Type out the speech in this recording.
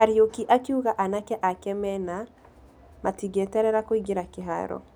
Kariuki akiuga anake ake mena ...., matingĩeterera kũingĩelra kĩharo.